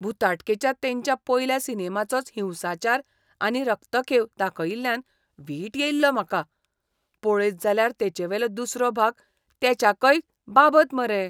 भुताटकेच्या तेंच्या पयल्या सिनेमाचोच हिंसाचार आनी रक्तखेव दाखयिल्ल्यान वीट येयल्लो म्हाका. पळयत जाल्यार तेचेवेलो दुसरो भाग तेच्याकय बाबत मरे.